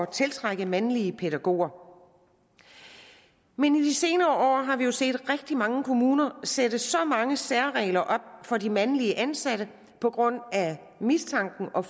tiltrække mandlige pædagoger men i de senere år har vi jo set rigtig mange kommuner sætte så mange særregler op for de mandlige ansatte på grund af mistanken om